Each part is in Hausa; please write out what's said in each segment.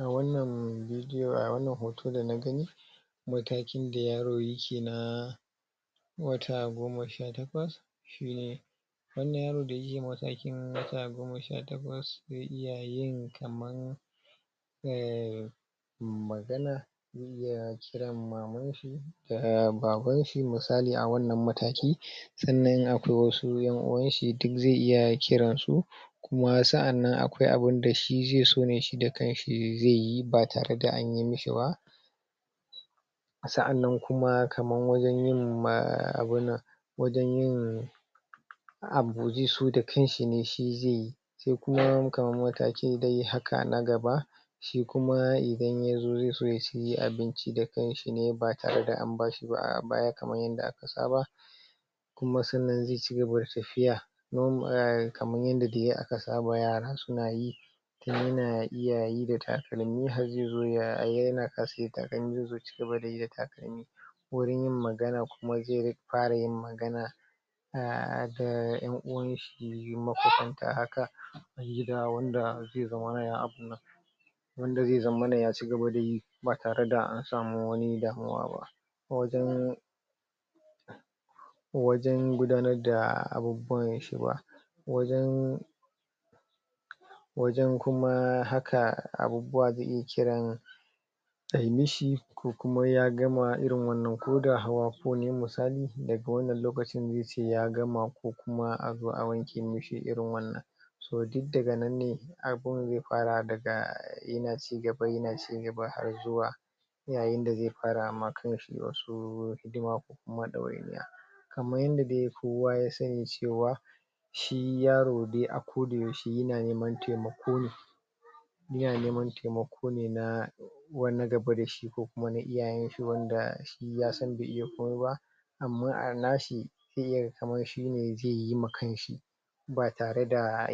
a wannan hoto da nagani matakin da yaro yake na wata goma sha takwas wannan yaro da yake a matakin sha takwas zai iya yin ka magana ya kiran maman shi da baban shi da misali a wannan mataki sannan in akwai wasu en uwan shi duk zai iya kiran su kuma sa'annan akwai wani abu da zai so shi da kan shi zai yi ba tare da an mishi ba sa'annan kaman wajen yin abunnan wajen yin abu zai so da kanshi ne zai yi sai kuma kaman mataki dai haka na gaba shi kuma idan yazo zai so ya ci abinci da kanshi ne ba tare da an bashi ba a baya kaman yanda aka saba kuma sannan zai cigaba da tafiya kaman yanda dai aka saba yara suna yi kuma yana iya yi da takalmi har zai zo a ga yana zai zo ya cigaba da yi da takalmi wurin yin magana kuma zai fara yin magana um da en uwan shi kila wanda zai zama wanda zai zammana ya cigaba da yi ba tare da an samu wani damuwa ba wajen wajen gudanar da abubuwan shi ba wajen wajen kuma haka abubuwa take kiran kan yi shi ko kuma ya gama irin wannan koda hawa ko misali daga wannan lokacin zai ya gama ko kuma a zo a wanke mishi irin wannan toh duk daga nan ne abun zai fara daga yana cigaba yana cigaba da yayin da zai fara ma kan shi wasu hidima kaman yanda dai kowa ya sani cewa shi yaro dai a koda yaushe yana neman taimako ne yana neman taimako ne na wani gaba dashi ko kuma na iyayen shi wanda ysan bai iya komai ba amma a nashi sai yayi kaman shine zai yi ma kanshi ba tare da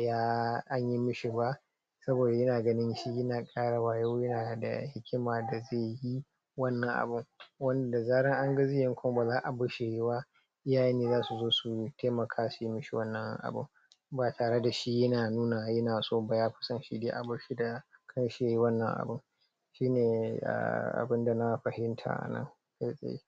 anyi mishi ba saboda yana gani shi yana kara wayo yana da hikima da zai yi wannan abun wanda da zaran an ga zai yi baza a barshi yayi ba iyaye ne zasu zo su taimaka su mishi wannan abun ba tare dashi yana nuna yana so kan shi yayi wannan abun shinee abun da na fahimta a nan fai fai